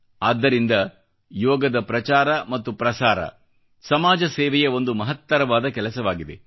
ಆದ್ದರಿಂದ ಯೋಗದ ಪ್ರಚಾರ ಮತ್ತು ಪ್ರಸಾರ ಸಮಾಜ ಸೇವೆಯ ಒಂದು ಮಹತ್ತರವಾದ ಕೆಲಸವಾಗಿದೆ